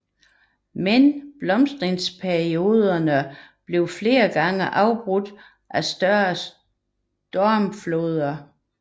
Men blomstringsperioderne blev flere gange afbrudt af større stormfloder